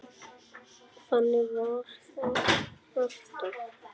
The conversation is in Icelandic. Þannig var það alltaf.